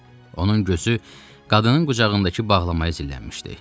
Onun gözü qadının qucağındakı bağlamaya zillənmişdi.